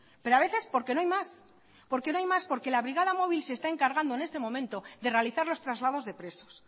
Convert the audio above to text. pero a veces porque no hay más por que no hay más porque la brigada móvil se está encargando en este momento de realizar los traslados de presos